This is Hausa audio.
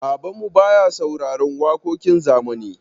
Babanmu baya sauraron waƙoƙin zamani.